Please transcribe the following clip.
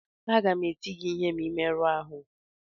Aga m eti gị ihe ma ị merụọ ahụ